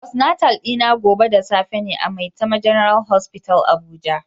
Postatal dina gobe da safe ne a maitama general hospital abuja